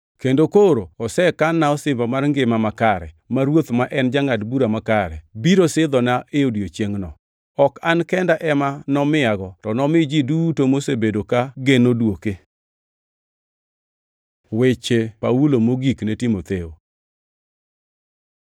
Kendo koro osekan-na osimbo mar ngima makare, ma Ruoth, ma en jangʼad bura makare, biro sidhona e odiechiengʼno. Ok an kenda ema nomiyago, to nomi ji duto mosebedo ka geno dwoke. Weche Paulo mogik ne Timotheo